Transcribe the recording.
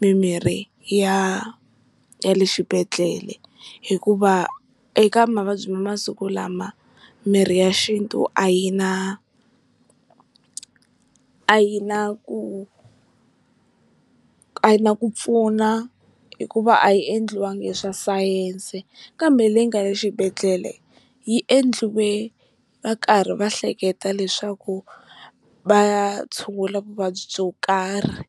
mimirhi ya ya le xibedhlele, hikuva eka mavabyi ma masiku lama mirhi ya xintu a yi na a yi na ku a yi na ku pfuna hikuva a yi endliwaka hi swa sayense, kambe leyi nga le xibedhlele yi endlile va karhi va hleketa leswaku va ya tshungula vuvabyi byo karhi.